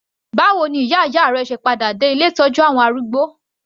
Báwo ni ìyá ìyá rẹ se padà dé ilé ìtọ́jú àwọn arúgbó?